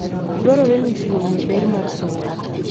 Dwarore ni ji ong'e ber mar somo.